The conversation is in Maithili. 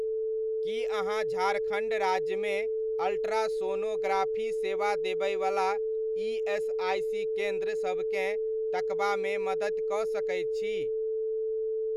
की अहाँ झारखण्ड राज्यमे अल्ट्रासोनोग्राफी सेवा देबयवला ईएसआइसी केन्द्र सबकेँ तकबामे मदति कऽ सकैत छी?